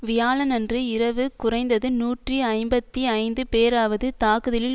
வியாழனன்று இரவு குறைந்தது நூற்றி ஐம்பத்தி ஐந்து பேராவது தாக்குதலில்